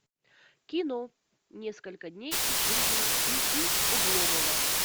кино несколько дней из жизни и и обломова